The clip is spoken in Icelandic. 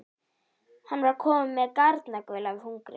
Hann var kominn með garnagaul af hungri.